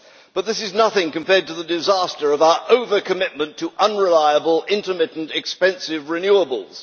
But this is nothing compared to the disaster of our over-commitment to unreliable, intermittent and expensive renewables.